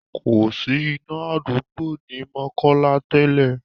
Kòsí iná àdúgbò ní Mokola tẹ́lẹ̀.